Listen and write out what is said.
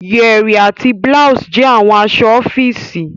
yẹrí àti blouse jẹ awọn aṣọ ọfiisi.